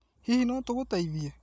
Hihi no tũgũteithie?